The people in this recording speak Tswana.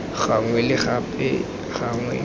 gangwe le gape bonnye gangwe